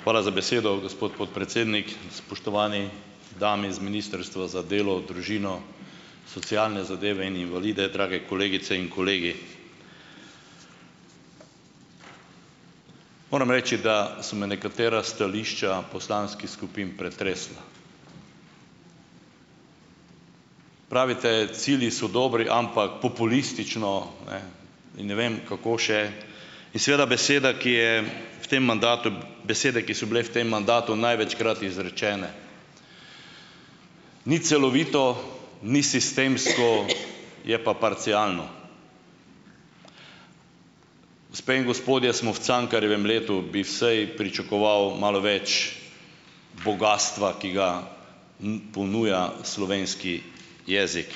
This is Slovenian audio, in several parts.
Hvala za besedo, gospod podpredsednik. Spoštovani dami z Ministrstva za delo, družino, socialne zadeve in invalide, drage kolegice in kolegi. Moram reči, da so me nekatera stališča poslanskih skupin pretresla. Pravite, cilji so dobri, ampak populistično, ne, in ne vem, kako še. In seveda beseda, ki je v tem mandatu, besede, ki so bile v tem mandatu največkrat izrečene, ni celovito, ni sistemsko, je pa parcialno. Gospe in gospodje, smo v Cankarjevem letu, bi vsaj pričakoval malo več bogastva, ki ga ponuja slovenski jezik.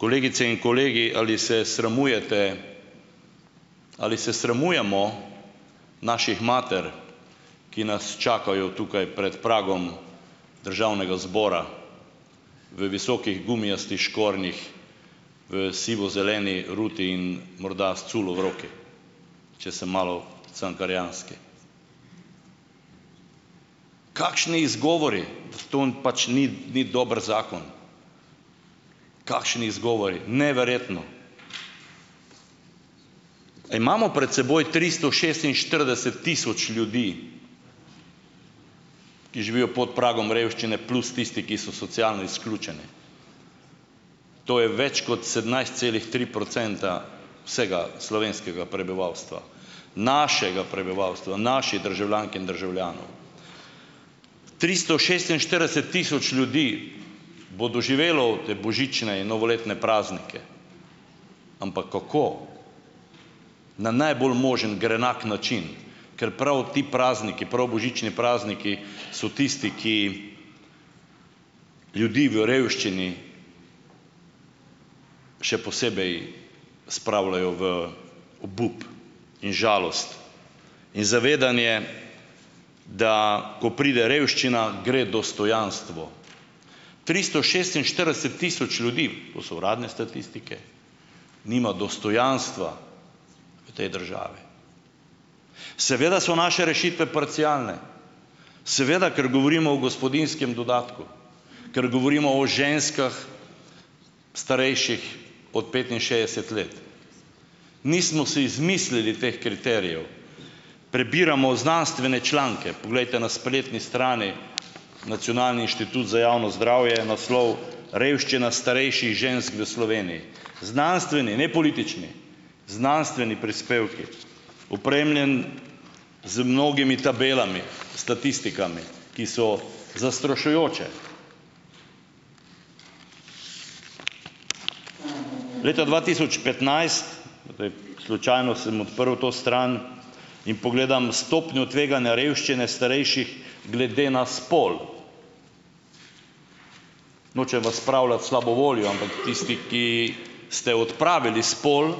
Kolegice in kolegi, ali se sramujete, ali se sramujemo naših mater, ki nas čakajo tukaj prej pragom državnega zbora v visokih gumijastih škornjih, v sivozeleni ruti in morda s culo v roki, če sem malo cankarjanski. Kakšni izgovori, t to n pač ni, ni dober zakon, kakšni izgovori, neverjetno. Imamo pred seboj tristo šestinštirideset tisoč ljudi, ki živijo pod pragom revščine, plus tisti, ki so socialno izključeni. To je več kot sedemnajst celih tri procenta vsega slovenskega prebivalstva, našega prebivalstva, naših državljank in državljanov. Tristo šestinštirideset tisoč ljudi bo doživelo te božične in novoletne praznike, ampak kako? Na najbolj možen grenak način, ker prav ti prazniki, prav božični prazniki so tisti, ki ljudi v revščini še posebej spravljajo v obup in žalost in zavedanje, da ko pride revščina, gre dostojanstvo. Tristo šestinštirideset tisoč ljudi, to so uradne statistike, nima dostojanstva v tej državi. Seveda so naše rešitve parcialne, seveda, ker govorimo o gospodinjskem dodatku, ker govorimo o ženskah, starejših od petinšestdeset let. Nismo si izmislili teh kriterijev. Prebiramo znanstvene članke. Poglejte, na spletni strani Nacionalni inštitut za javno zdravje je naslov Revščina starejših žensk v Sloveniji, znanstveni, ne politični, znanstveni prispevki, opremljeno z mnogimi tabelami, statistikami, ki so zastrašujoče. Leta dva tisoč petnajst, v tej slučajno sem odprl to stran in pogledam stopnjo tveganja revščine starejših glede na spol. Nočem vas spravljati v slabo voljo, ampak tisti, ki ste odpravili spol,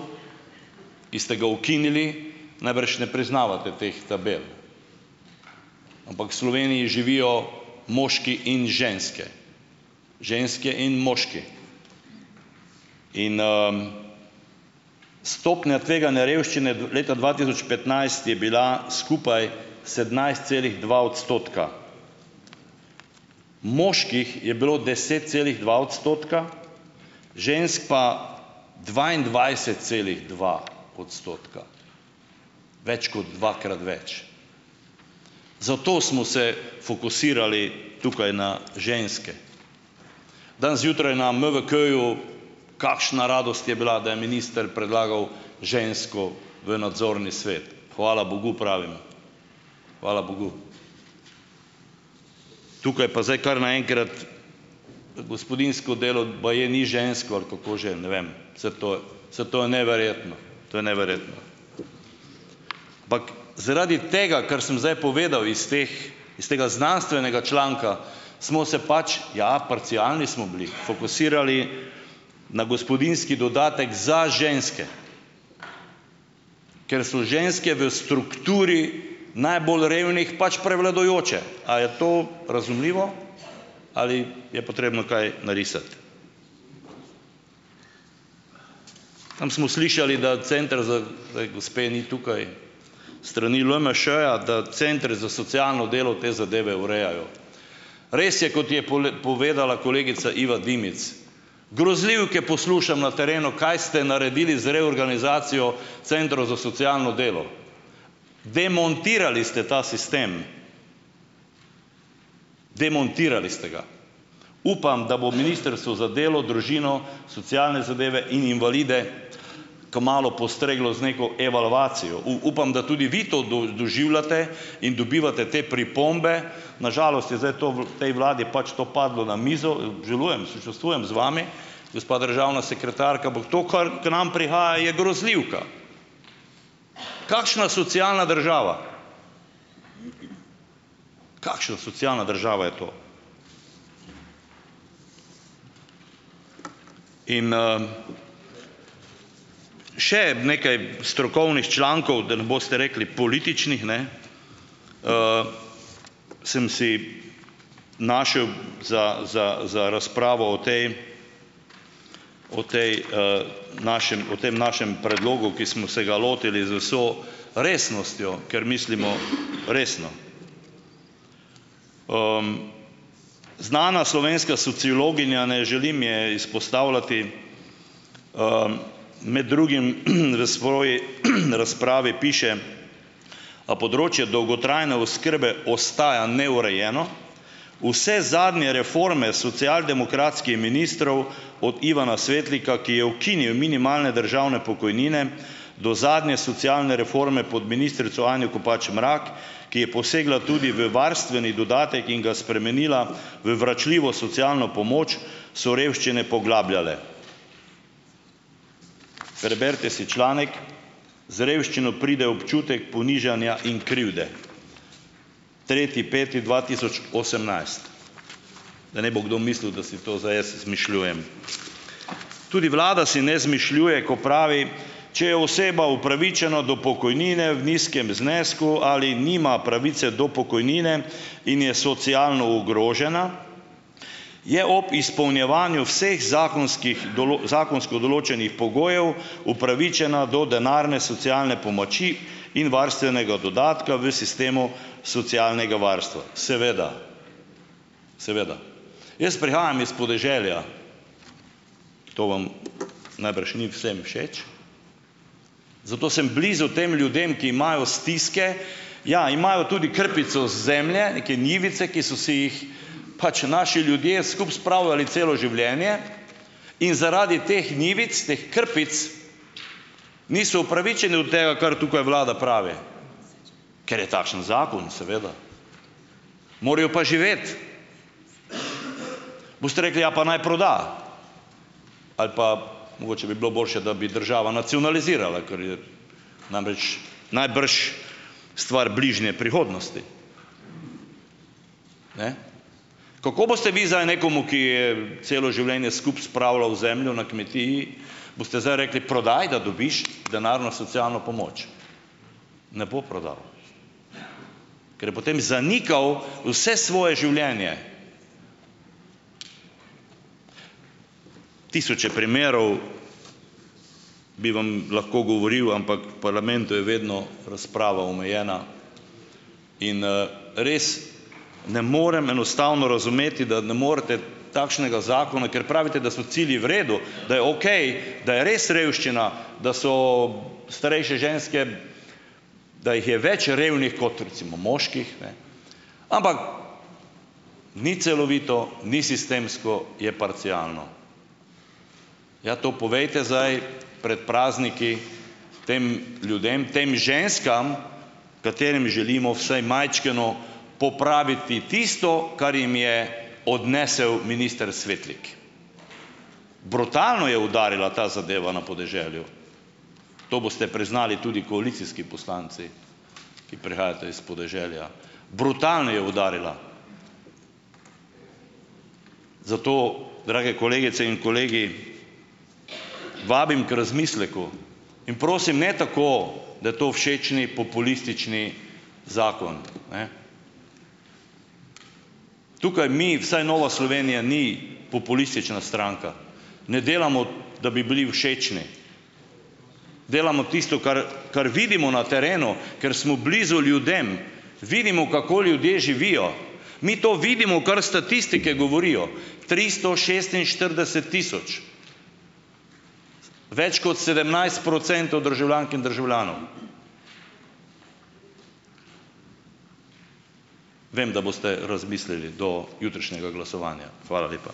ki ste ga ukinili, najbrž ne priznavate teh tabel, ampak v Sloveniji živijo moški in ženske, ženske in moški. In ... Stopnja tveganja revščine v leta dva tisoč petnajst je bila skupaj sedemnajst celih dva odstotka. Moških je bilo deset celih dva odstotka, žensk pa dvaindvajset celih dva odstotka, več kot dvakrat več, zato smo se fokusirali tukaj na ženske. Danes zjutraj na MVK-ju kakšna radost je bila, da je minister predlagal žensko v nadzorni svet. Hvala bogu, pravim. Hvala bogu. Tukaj pa zdaj kar naenkrat gospodinjsko delo baje ni žensko ali kako že, ne vem, saj to saj to je neverjetno. To je neverjetno. Epak zaradi tega, ker sem zdaj povedal iz teh, iz tega znanstvenega članka smo se pač, ja, parcialni smo bili, fokusirali na gospodinjski dodatek za ženske, ker so ženske v strukturi najbolj revnih pač prevladujoče. A je to razumljivo? Ali je potrebno kaj narisati? Tam smo slišali, da center, za zdaj gospe ni tukaj, s strani LMŠ-ja, da center za socialno delo te zadeve urejajo. Res je, kot je pole povedala kolegica Iva Dimic, grozljivke poslušam na terenu, kaj ste naredili z reorganizacijo centrov za socialno delo. Demontirali ste ta sistem, demontirali ste ga. Upam, da bo Ministrstvo za delo, družino, socialne zadeve in invalide kmalu postreglo z neko evalvacijo. upam, da tudi vi to dož, doživljate in dobivate te pripombe. Na žalost je zdaj to v tej vladi pač to padlo na mizo, obžalujem, sočustvujem z vami, gospa državna sekretarka, ampak to kar k nam prihaja, je grozljivka. Kakšna socialna država? Kakšna socialna država je to? In ... Še nekaj strokovnih člankov, da ne boste rekli političnih, ne, sem si našel za, za, za razpravo o tej o tej našem o tem našem predlogu, ki smo se ga lotili z vso resnostjo, ker mislimo resno. Znana slovenska sociologinja, ne želim je izpostavljati, med drugim v svoji razpravi piše: "A področje dolgotrajne oskrbe ostaja neurejeno? Vse zadnje reforme socialdemokratskih ministrov, od Ivana Svetlika, ki je ukinil minimalne državne pokojnine, do zadnje socialne reforme pod ministrico Anjo Kopač Mrak, ki je posegla tudi v varstveni dodatek in ga spremenila v vračljivo socialno pomoč, so revščine poglabljale." Preberite si članek. Z revščino pride občutek ponižanja in krivde, tretji peti dva tisoč osemnajst, da ne bo kdo mislil, da si to zdaj jaz izmišljujem. Tudi vlada si ne izmišljuje, ko pravi, če je oseba upravičena do pokojnine v nizkem znesku ali nima pravice do pokojnine in je socialno ogrožena, je ob izpolnjevanju vseh zakonskih zakonsko določenih pogojev upravičena do denarne socialne pomoči in varstvenega dodatka v sistemu socialnega varstva. Seveda. Seveda. Jaz prihajam iz podeželja. To vam najbrž ni vsem všeč, zato sem blizu tem ljudem, ki imajo stiske. Ja, imajo tudi krpico zemlje, neke njivice, ki so si jih pač naši ljudje skupaj spravljali celo življenje. In zaradi teh njivic, teh krpic, niso upravičeni do tega, kar tukaj vlada pravi. Ker je takšen zakon, seveda. Morajo pa živeti. Boste rekli, ja, pa naj proda ali pa mogoče bi bilo boljše, da bi država nacionalizirala, kar je namreč, najbrž stvar bližnje prihodnosti. Ne? Kako boste vi zdaj nekomu, ki je celo življenje skupaj spravljal zemljo na kmetiji, boste zdaj rekli, prodaj, da dobiš denarno socialno pomoč. Ne bo prodal, ker je potem zanikal vse svoje življenje. Tisoče primerov bi vam lahko govoril, ampak v parlamentu je vedno razprava omejena. In res, ne morem, enostavno, razumeti, da ne morete takšnega zakona, ker pravite, da so cilji v redu, da je okej, da je res revščina, da so ... Starejše ženske da jih je več revnih kot, recimo, moških, ne, ampak ni celovito, ni sistemsko, je parcialno. Ja, to povejte zdaj prej prazniki tem ljudem, tem ženskam, katerim želimo vsaj majčkeno popraviti tisto, kar jim je odnesel minister Svetlik. Brutalno je udarila ta zadeva na podeželju, to boste priznali tudi koalicijski poslanci, ki prihajate iz podeželja, brutalno je udarila. Zato, drage kolegice in kolegi, vabim k razmisleku, in prosim, ne tako, da je to všečni, populistični zakon, ne. Tukaj mi, vsaj Nova Slovenija ni populistična stranka, ne delamo, da bi bili všečni. Delamo tisto, kar, kar vidimo na terenu, ker smo blizu ljudem, vidimo, kako ljudje živijo. Mi to vidimo, kar statistike govorijo, tristo šestinštirideset tisoč, več kot sedemnajst procentov državljank in državljanov. Vem, da boste razmislili do jutrišnjega glasovanja. Hvala lepa.